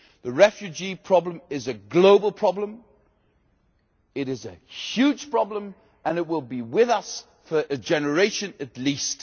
The refugee problem is a global problem and it is a huge problem and it will be with us for a generation at least.